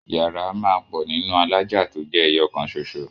Yàrá a máà pò nínú alájà tójé eyo kan soso.